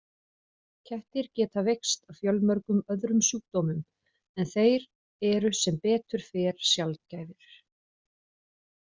Kettir geta veikst af fjölmörgum öðrum sjúkdómum en þeir eru sem betur fer sjaldgæfir.